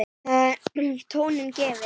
Þar með var tónninn gefinn.